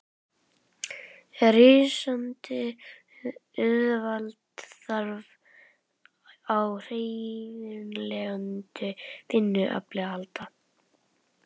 Rísandi auðvald þarf á hreyfanlegu vinnuafli að halda.